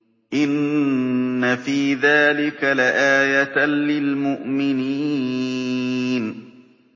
إِنَّ فِي ذَٰلِكَ لَآيَةً لِّلْمُؤْمِنِينَ